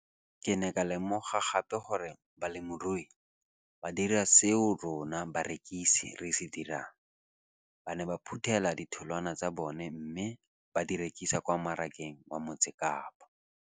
Ke ne ka lemoga gape gore balemirui ba dira seo rona barekisi re se dirang - ba ne ba phuthela ditholwana tsa bona mme ba di rekisa kwa marakeng wa Motsekapa.